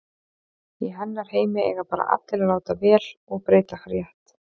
Í hennar heimi eiga bara allir að láta vel og breyta rétt.